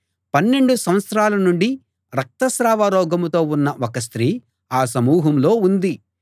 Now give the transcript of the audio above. పన్నెండు సంవత్సరాల నుండి రక్తస్రావ రోగంతో ఉన్న ఒక స్త్రీ ఆ సమూహంలో ఉంది